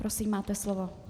Prosím, máte slovo.